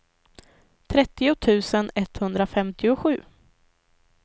trettio tusen etthundrafemtiosju